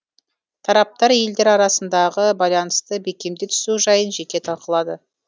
тараптар елдер арасындағы байланысты бекемдей түсу жайын жеке талқылады